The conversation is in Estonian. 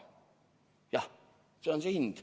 Jah, see on see hind.